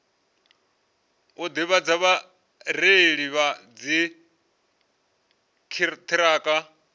u ḓivhadza vhareili vha dziṱhirakha